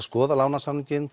skoða lánasamninginn